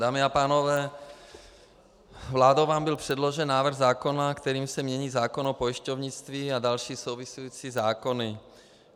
Dámy a pánové, vládou vám byl předložen návrh zákona, kterým se mění zákon o pojišťovnictví a další související zákony.